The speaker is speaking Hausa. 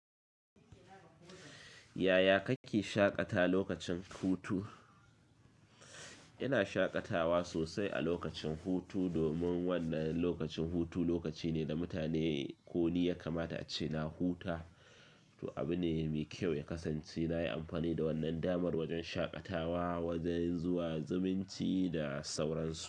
Yaya kake shaƙata lokacin hutu? Ina shaƙatawa sosai a lokacin hutu domin wannan lokacin hutu lokaci ne da mutane ko ni ya kamata a ce na huta. To, abu ne mai kyau ya kasance na yi amfani da wannan damar wajen shaƙatawa, wajen zuwa zumunci da sauransu.